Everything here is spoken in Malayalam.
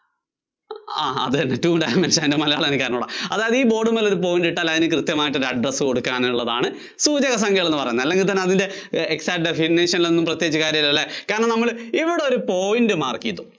ആഹ് അതുതന്നെ two dimension അതിന്‍റെ മലയാളം എനിക്ക് അറിഞ്ഞുകൂടാ അതായത് ഈ ബോർഡുമ്മൽ ഒരു point ഇട്ടാൽ അതിന് കൃത്യമായിട്ട് ഒരു address കൊടുക്കാനുള്ളതാണ് സൂചകസംഖ്യകള്‍ എന്നുപറയുന്നത് അല്ലെങ്കിൽ തന്നെ അതിന്‍റെ exact definition നില്‍ ഒന്നും പ്രത്യേകിച്ച് കാര്യമൊന്നുമില്ല അല്ലേ കാരണം നമ്മൾ ഇവിടെ ഒരു point mark ചെയ്തു